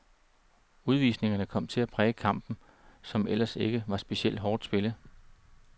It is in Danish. Udvisningerne kom til at præge kampen, som ellers ikke var specielt hårdt spillet.